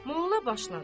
Molla başladı.